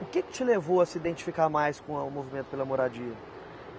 O que que te levou a se identificar mais com a o movimento pela moradia?